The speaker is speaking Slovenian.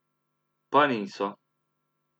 Pa niso.